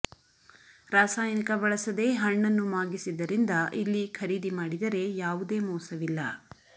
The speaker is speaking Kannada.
ರಾಸಾಯನಿಕ ಬಳಸದೇ ಹಣ್ಣನ್ನು ಮಾಗಿಸಿದರಿಂದ ಇಲ್ಲಿ ಖರೀದಿ ಮಾಡಿದರೆ ಯಾವುದೇ ಮೋಸವಿಲ್ಲ